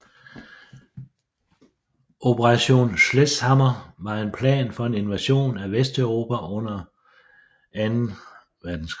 Operation Sledgehammer var en plan for en invasion af Vesteuropa under 2